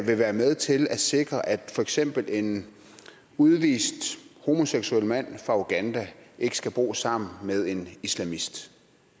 vil være med til at sikre at for eksempel en udvist homoseksuel mand fra uganda ikke skal bo sammen med en islamist